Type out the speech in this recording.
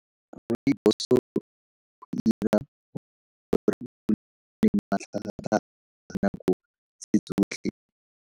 Rooibos dinako tse tsotlhe.